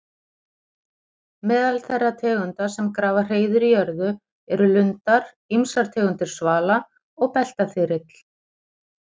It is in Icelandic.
Meðal þeirra tegunda sem grafa hreiður í jörðu eru lundar, ýmsar tegundir svala og beltaþyrill.